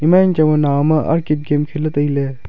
ema yang changba nawham e game kheley tailey.